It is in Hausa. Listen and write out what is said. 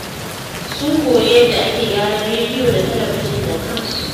Sun koyi yadda ake gyaran rediyo da talabijin da kansu.